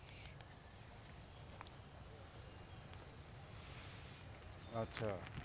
আচ্ছা।